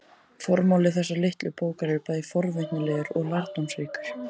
Formáli þessarar litlu bókar er bæði forvitnilegur og lærdómsríkur.